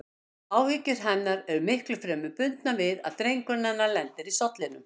Áhyggjur hennar eru miklu fremur bundnar við að drengurinn hennar lendi í sollinum.